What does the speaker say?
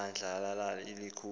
bandla lali likhulu